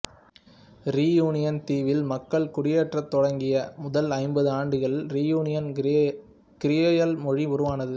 reunion தீவில் மக்கள் குடியேறத் தொடங்கிய முதல் ஐம்பது ஆண்டுகளில் ரீயூனியன் கிரியோல் மொழி உருவானது